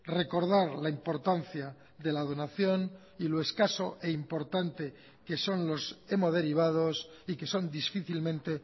recordar la importancia de la donación y lo escaso e importante que son los hemoderivados y que son difícilmente